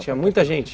Tinha muita gente?